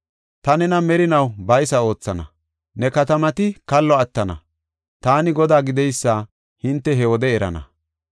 Ta nena merinaw baysa oothana; ne katamati kallo attana; Taani Godaa gideysa hinte he wode erana.